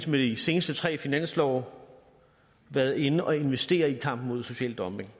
med de seneste tre finanslove været inde at investere i kampen mod social dumping